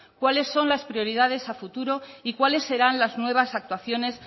cuáles son las prioridades a futuro y cuáles serán las nuevas actuaciones